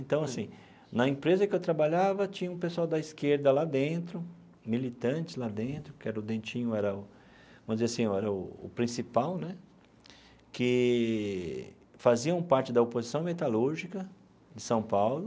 Então, assim, na empresa que eu trabalhava, tinha um pessoal da esquerda lá dentro, militantes lá dentro, que era o Dentinho era o, vamos dizer assim, era o principal né, que faziam parte da oposição metalúrgica de São Paulo,